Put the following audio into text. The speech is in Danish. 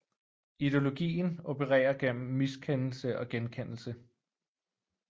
Ideologien opererer gennem miskendelse og genkendelse